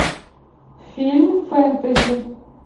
фильм фэнтези